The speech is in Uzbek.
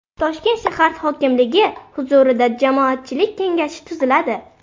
Toshkent shahar hokimligi huzurida Jamoatchilik kengashi tuziladi.